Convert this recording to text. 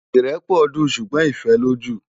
Irèpò dún súgbòn Ifèlójú